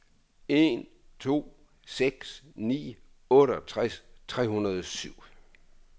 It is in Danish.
en to seks ni otteogtres tre hundrede og syv